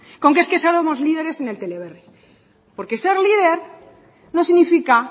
con que somos líderes en el teleberri porque ser líder no significa